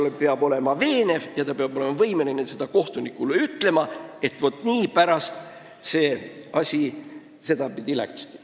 Aga ta peab olema veenev ja võimeline kohtunikule ütlema, mispärast asi sedapidi läks.